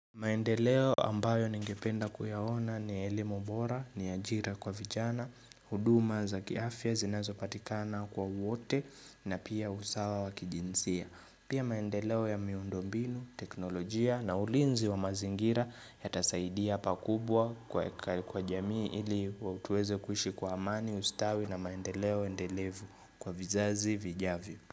Maendeleo ambayo ningependa kuyaona ni elimu bora, ni ajira kwa vijana, huduma za kiafya zinazopatikana kwa wote na pia usawa wa kijinsia. Pia maendeleo ya miundo mbinu, teknolojia na ulinzi wa mazingira yatasaidia pakubwa kwa jamii ili tueze kuishi kwa amani ustawi na maendeleo endelevu kwa vizazi vijavyo.